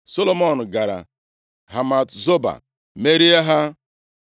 Solomọn gara Hamat-Zoba, merie ha.